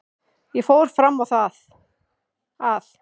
Ég fór fram á það að